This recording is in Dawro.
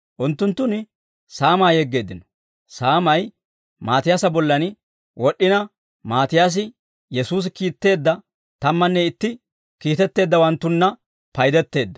Unttunttun saamaa yeggeeddino; saamay Maatiyaasa bollan wod'd'ina, Maatiyaasi Yesuusi kiitteedda tammanne itti kiitettawanttunna paydetteedda.